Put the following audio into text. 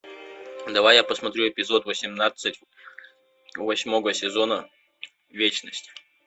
давай я посмотрю эпизод восемнадцать восьмого сезона вечность